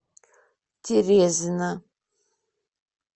терезина